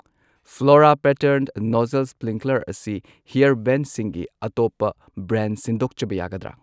Flora pattern nozzle sprinkler ꯑꯁꯤ ꯍꯤꯌꯔ ꯕꯦꯟꯁꯤꯡꯒꯤ ꯑꯇꯣꯞꯄ ꯕ꯭ꯔꯥꯟ ꯁꯤꯟꯗꯣꯛꯆꯕ ꯌꯥꯒꯗ꯭ꯔ?